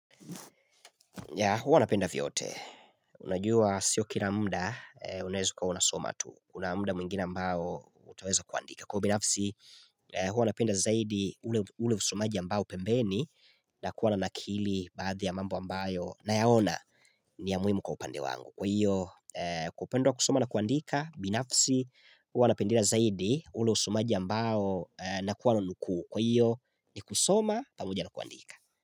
Ya huwa napenda vyote, unajua sio kila mda unaweza kuwa unasoma tu, kuna muda mwingine ambao utaweza kuandika. Kwa binafsi huwa napenda zaidi ule usomaji ambao pembeni na kuwa nakili baadhi ya mambo ambayo na yaona ni ya muimu kwa upande wangu. Kwa hiyo kwa upande wa kusoma na kuandika, binafsi huwa napenda zaidi ule usomaji ambao na kuwa nanukuu. Kwa hiyo ni kusoma pamoja na kuandika.